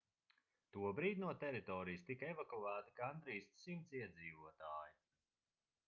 tobrīd no teritorijas tika evakuēti gandrīz 100 iedzīvotāji